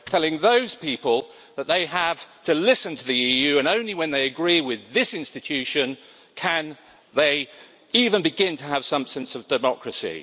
Telling those people that they have to listen to the EU and only when they agree with this institution can they even begin to have some sense of democracy.